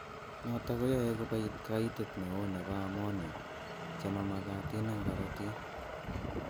Nitok koyae kobit kaitet neoo nebo ammonia chemamakatin eng' korotik